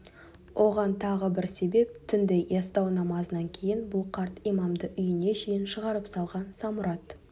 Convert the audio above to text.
оған тағы бір себеп түнде ястау намазынан кейін бұл қарт имамды үйіне шейін шығарып салған самұрат